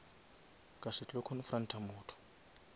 ka se tlo confront motho